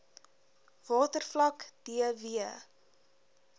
watervlak d w